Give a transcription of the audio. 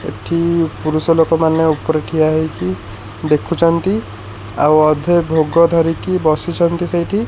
ଏଠି ପୁରୁଷ ଲୋକ ମାନେ ଉପରେ ଠିଆ ହେଇକି ଦେଖୁଛନ୍ତି ଆଉ ଅଧେ ଭୋଗ ଧରିକି ବସିଛନ୍ତି ସେଇଠି।